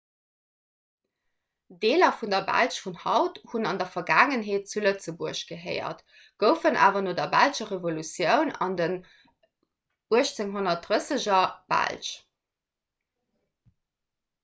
deeler vun der belsch vun haut hunn an der vergaangenheet zu lëtzebuerg gehéiert goufen awer no der belscher revolutioun an den 1830er belsch